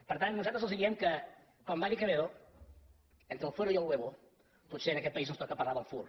per tant nosaltres els diem que com va dir quevedo entre el fuero y el huevo potser en aquest país ens toca parlar del fur